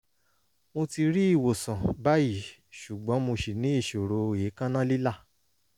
mo ti rí ìwòsàn báyìí ṣùgbọ́n mo ṣì ní ìṣòro èékánná lílà